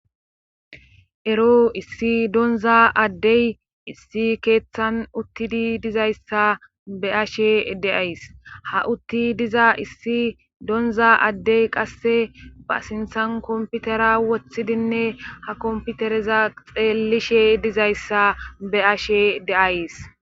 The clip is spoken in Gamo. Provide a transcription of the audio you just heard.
Ero issi donaza adde issi keetan uttidi dizayssa be7ashe de7ays;ha utti diza issi donza adde qasse ba sinthan kompitera wottidinne ha kompitereza xeellishe dizayssa be7ashe de7ays.